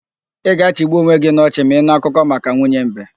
Ị ga-achịgbu onwe gị n'ochị ma ị nụ akụkọ maka nwunye mbe.